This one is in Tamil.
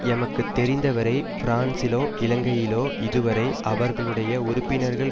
எமக்கு தெரிந்த வரை பிரான்சிலோ இலங்கையிலோ இதுவரை அவர்களுடைய உறுப்பினர்கள்